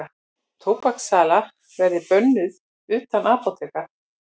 Tóbakssala verði bönnuð utan apóteka